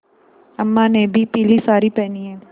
अम्मा ने भी पीली सारी पेहनी है